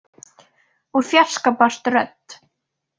Úr fjarska barst rödd.